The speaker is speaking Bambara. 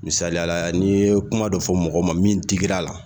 Misaliya la n'i ye kuma dɔ fɔ mɔgɔ ma min digir'a la